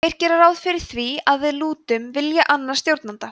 þeir gera ráð fyrir því að við lútum vilja annars stjórnanda